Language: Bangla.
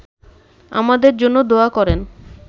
আমাদের জন্যে দোয়া করেন